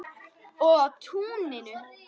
Og á túninu.